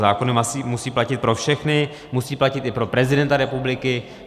Zákony musí platit pro všechny, musí platit i pro prezidenta republiky.